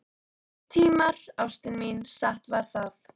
Nýir tímar, ástin mín, satt var það.